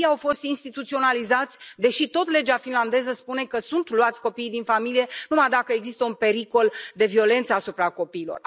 Copiii au fost instituționalizați, deși tot legea finlandeză spune că sunt luați copiii din familie numai dacă există un pericol de violența asupra copiilor.